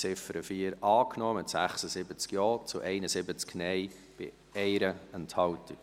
Sie haben die Ziffer 4 angenommen, mit 76 Ja- zu 71 Nein-Stimmen bei 1 Enthaltung.